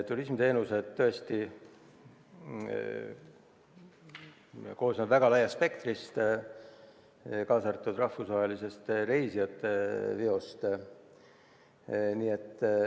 Turismiteenused hõlmavad tõesti väga laia spektri, kaasa arvatud rahvusvahelise reisijateveo.